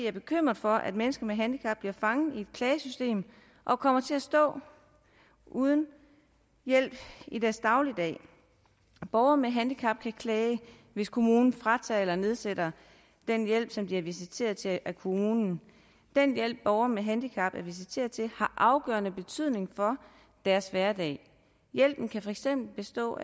er bekymret for at mennesker med handicap bliver fanget i et klagesystem og kommer til at stå uden hjælp i deres dagligdag borgere med handicap kan klage hvis kommunen fratager eller nedsætter den hjælp som de er visiteret til af kommunen den hjælp borgere med handicap er visiteret til har afgørende betydning for deres hverdag hjælpen kan for eksempel bestå